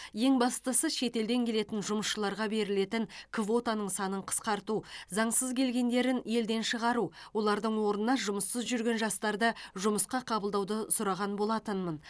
ең бастысы шетелден келетін жұмысшыларға берілетін квотаның санын қысқарту заңсыз келгендерін елден шығару олардың орнына жұмыссыз жүрген жастарды жұмысқа қабылдауды сұраған болатынмын